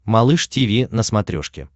малыш тиви на смотрешке